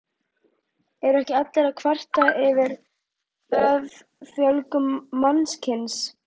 Eru ekki allir að kvarta yfir offjölgun mannkynsins?